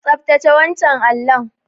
Tsaftace wancan allon.